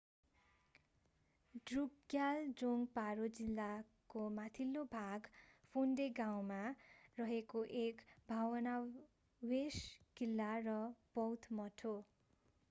ड्रुकग्याल जोङ्ग पारो जिल्लाको माथिल्लो भाग फोन्डे गाउँमा मा रहेको एक भग्नावशेष किल्ला र बौद्ध मठ हो।